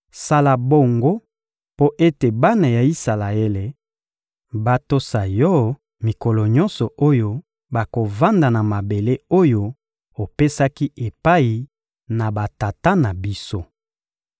Sala bongo mpo ete bana ya Isalaele batosa Yo mikolo nyonso oyo bakovanda na mabele oyo opesaki epai na batata na biso.